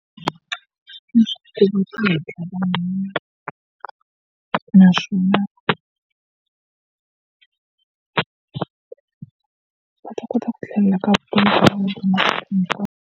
Naswona va ta kota ku tlhelela .